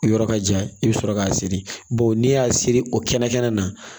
O yɔrɔ ka jan i bɛ sɔrɔ k'a siri bawo n'i y'a siri o kɛnɛ kɛnɛ na